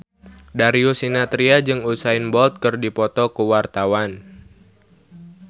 Darius Sinathrya jeung Usain Bolt keur dipoto ku wartawan